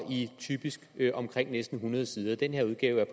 typisk i omkring næsten hundrede sider den her udgave jeg